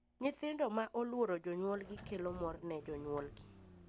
Nyithindo ma oluoro jonyuolgi kelo mor ne jonyuolgi.